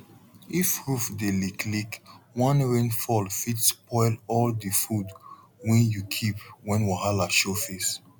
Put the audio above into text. if roof dey leak leak one rain fall fit spoil all de food when u keep when wahala show face